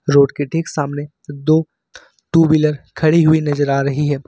Road के ठीक सामने दो टू व्हीलर खड़ी हुई नजर आ रही है।